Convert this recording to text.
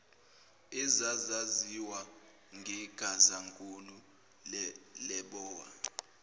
ezazaziwa ngegazankulu lebowa